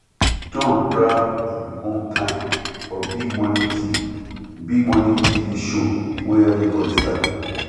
john grab im own time for big morning tv big morning tv show wey everybody sabi